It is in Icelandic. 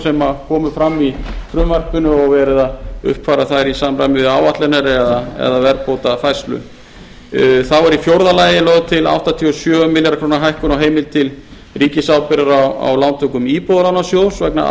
sem komu fram í frumvarpinu og er verið að uppfæra þær í samræmi við áætlanir eða verðbótafærslu þá er í fjórða lagi lögð til áttatíu og sjö milljarða króna hækkun á heimild til ríkisábyrgðar á lántökum íbúðalánasjóðs vegna